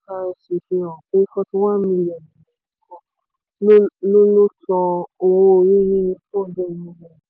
fihàn pé forty one million èèyàn nìkan ló ló san owó orí nínú two hundred million